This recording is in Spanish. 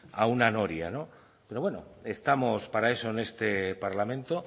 a una noria no pero bueno estamos para eso en este parlamento